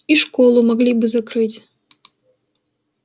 и школу могли бы закрыть